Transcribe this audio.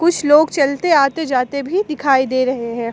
कुछ लोग चलते आते जाते भी दिखाई दे रहे हैं।